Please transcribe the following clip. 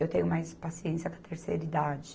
Eu tenho mais paciência com a terceira idade.